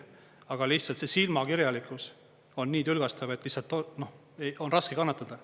Aga lihtsalt see silmakirjalikkus on nii tülgastav, et lihtsalt on raske kannatada.